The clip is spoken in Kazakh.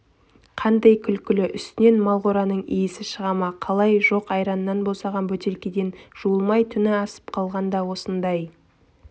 қандай күлкілі үстінен мал қораның иісі шыға ма қалай жоқ айраннан босаған бөтелкеден жуылмай түні асып қалғанда осындай